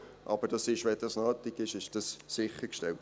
Aber wenn Internet nötig ist, ist es sichergestellt.